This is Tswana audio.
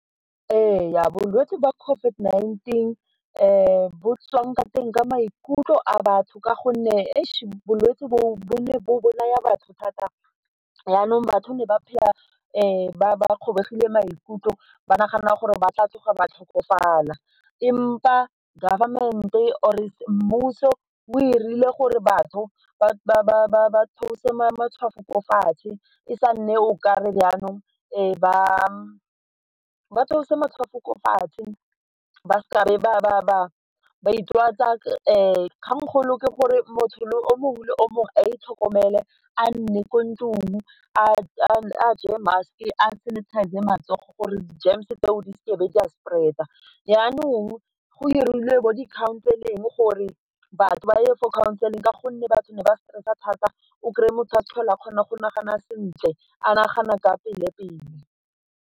Ee bolwetse ba COVID-19 bo tswang ka teng ka maikutlo a batho ka gonne bolwetse boo bo ne bo bolaya batho thata jaanong batho ne ba phela ba kgobegile maikutlo ba nagana gore ba tla tloga ba tlhokofala empa government or mmuso o dirile gore batho ba tseose matshwafo ko fatshe, e sa nne o ka re jaanong ba batho ba theose matshwafo ko fatshe ba se ka ba itwatsa kgangkgolo ke gore motho o mongwe le o mongwe a itlhokomele a nne ko ntlong a tseye mask a sanitize-e matsogo gore di-germs tseo di se ke be di a spread-a, jaanong go dirilwe bo di-counseling gore batho ba ye for di-counseling ka gonne batho ba stress-a thata o kry-e motho a tlhola a kgona go nagana sentle a nagana ka pele-pele.